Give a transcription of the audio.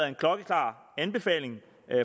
en klokkeklar anbefaling